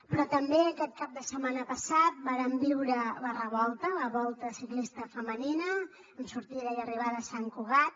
però també aquest cap de setmana passat vàrem viure la revolta la volta ciclista femenina amb sortida i arribada a sant cugat